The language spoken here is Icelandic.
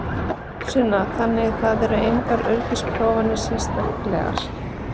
Sunna: Þannig það eru engar öryggisprófanir sérstaklegar?